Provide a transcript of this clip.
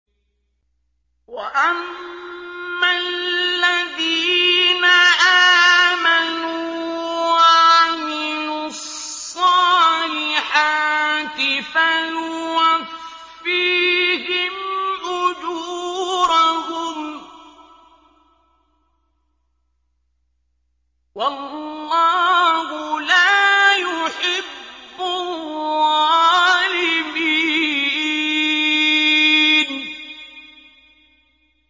وَأَمَّا الَّذِينَ آمَنُوا وَعَمِلُوا الصَّالِحَاتِ فَيُوَفِّيهِمْ أُجُورَهُمْ ۗ وَاللَّهُ لَا يُحِبُّ الظَّالِمِينَ